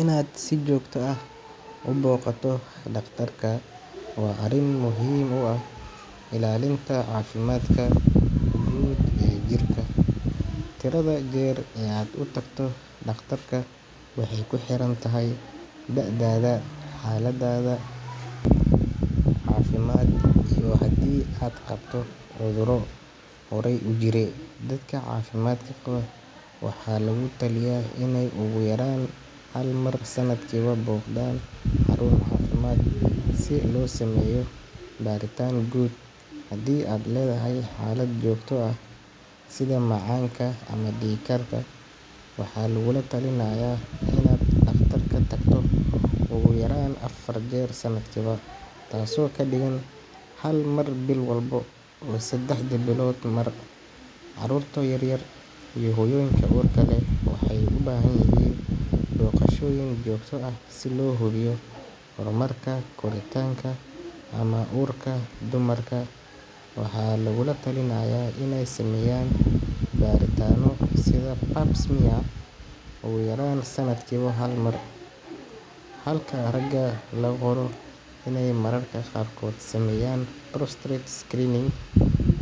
Inaad si joogto ah u booqato dhakhtarka waa arrin muhiim u ah ilaalinta caafimaadka guud ee jirka. Tirada jeer ee aad u tagto dhakhtarka waxay ku xiran tahay da’daada, xaaladdaada caafimaad iyo haddii aad qabto cudurro horay u jiray. Dadka caafimaadka qaba waxaa lagu taliyaa inay ugu yaraan hal mar sanadkiiba booqdaan xarun caafimaad si loo sameeyo baritaan guud. Haddii aad leedahay xaalad joogto ah sida macaanka ama dhiigkarka, waxaa lagugula talinayaa inaad dhakhtarka tagto ugu yaraan afar jeer sanadkiiba, taasoo ka dhigan hal mar bil walba oo sadexdii biloodba mar. Carruurta yaryar iyo hooyooyinka uurka leh waxay u baahan yihiin booqashooyin joogto ah si loo hubiyo horumarka koritaanka ama uurka. Dumarka waxaa lagula talinayaa inay sameeyaan baritaanno sida pap smear ugu yaraan sanadkiiba hal mar, halka ragana loo qoro iney mararka qaarkood sameeyaan prostate screening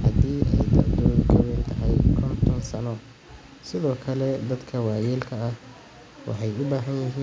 haddii ay da’doodu ka weyn tahay konton sano. Sidoo kale, dadka waayeelka ah waxay u baahan yihiin.